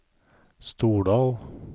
Stordal